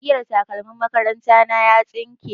Igiyar takalmin makaranta na ya tsinke.